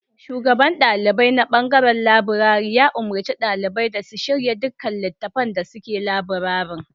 Shugaban ɗalibai na ɓangaren labirari ya umarci ɗalibai da su shirya duka littattafan da suke labirarin.